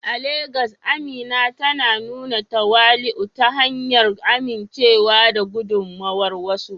A Legas, Amina tana nuna tawali'u ta hanyar amincewa da gudummawar wasu.